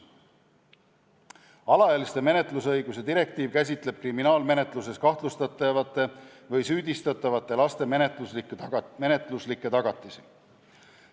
Alaealiste menetlusõiguste direktiiv käsitleb kriminaalmenetluses kahtlustatavate või süüdistatavate laste menetluslikke tagatisi.